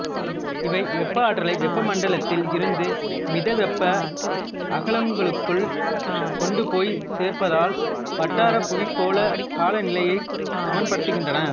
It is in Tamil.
இவை வெப்ப ஆற்றலை வெப்ப மண்டலத்தில் இருந்து மிதவெப்ப அகலாங்குகளுக்குக் கொண்டுபோய் சேர்ப்பதால் வட்டார புவிக் கோளக் காலநிலையைச் சமனப்படுத்துகின்றன